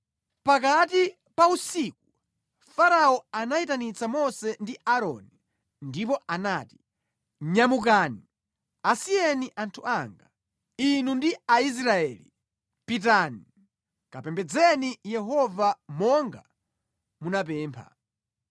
Pakati pa usiku Farao anayitanitsa Mose ndi Aaroni ndipo anati, “Nyamukani! Asiyeni anthu anga, inu ndi Aisraeli! Pitani, kapembedzeni Yehova monga munapempha.